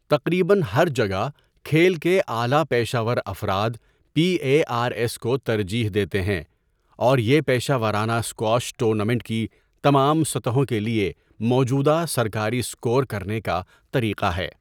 تقریبا ہر جگہ کھیل کے اعلی پیشہ ور افراد پی اے آر ایس کو ترجیح دیتے ہیں اور یہ پیشہ ورانہ اسکواش ٹورنامنٹ کی تمام سطحوں کے لیے موجودہ سرکاری اسکور کرنے کا طریقہ ہے۔